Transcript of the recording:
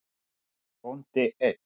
Bóndi einn.